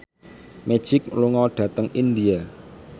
Magic lunga dhateng India